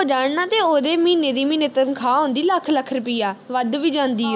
ਹੋ ਜਾਣ ਨਾ ਤੇ ਉਹਦੇ ਮਹੀਨੇ ਦੀ ਮਹੀਨੇ ਤਨਖਾਹ ਆਉਦੀ ਲੱਖ ਲੱਖ ਰੁਪਿਆ ਵੱਧ ਵੀ ਜਾਂਦੀ